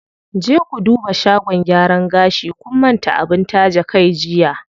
Je ku duba shagon gyaran gashi, kun manta abin taje kai jiya.